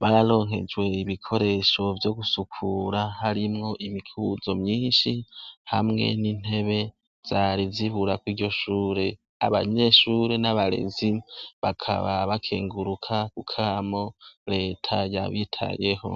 bararonkejwe ibikoresho vyo gusukura harimwo imikuzo myinshi hamwe n'intebe zariziburako iryo shure abanyeshure n'abarezi bakaba bakenguruka ku kamo leta yabitayeho.